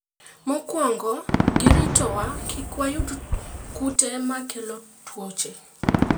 Mokwongo giritowa kik wayud kute makelo tuoche.